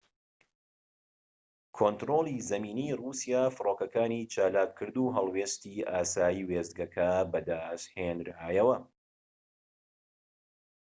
کۆنتڕۆڵی زەمینی ڕووسیا فڕۆکەکانی چالاک کرد و هەڵوێستی ئاسایی وێستگەکە بەدەست هێنرایەوە